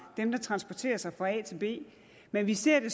dem der transporterer sig fra a til b men vi ser det